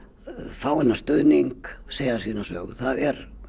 fá þennan stuðning segja sína sögu það er